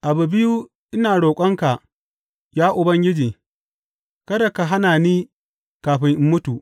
Abu biyu ina roƙonka, ya Ubangiji; kada ka hana ni kafin in mutu.